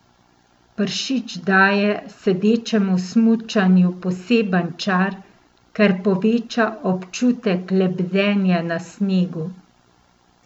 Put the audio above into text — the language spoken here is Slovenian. Pršič daje sedečemu smučanju poseben čar, ker poveča občutek lebdenja na snegu.